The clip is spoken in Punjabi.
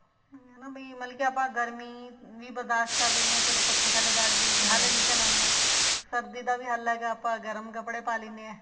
ਉਹੀ ਹੈ ਨਾ ਵੀ ਮਤਲਬ ਕੇ ਆਪਾਂ ਗਰਮੀ ਵੀ ਬਰਦਾਸ਼ਤ ਕਰ ਲੈਂਦੇ ਹਾਂ ਚਲੋ ਪੱਖੇ ਥੱਲੇ ਬੈਠ ਗਏ ਜੀ ਹੱਲ ਨਿਕਲ ਆਉਂਦਾ ਸਰਦੀ ਦਾ ਵੀ ਹੱਲ ਹੈਗਾ ਆਪਣਾ ਗਰਮ ਕੱਪੜੇ ਪਾ ਲੈਂਦੇ ਹਾਂ